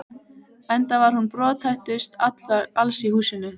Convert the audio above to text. Enda var hún brothættust alls í húsinu.